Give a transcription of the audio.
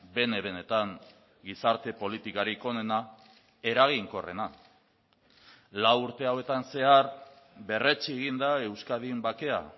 bene benetan gizarte politikarik onena eraginkorrena lau urte hauetan zehar berretsi egin da euskadin bakea